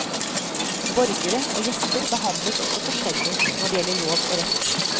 Borgere og gjester behandles også forskjellig når det gjelder lov og rett.